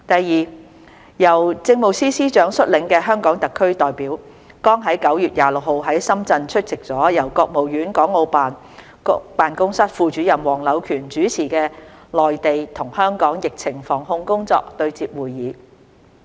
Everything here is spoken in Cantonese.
二由政務司司長率領的香港特區代表，剛在9月26日在深圳出席了由國務院港澳事務辦公室副主任黃柳權主持的內地與香港疫情防控工作對接會議。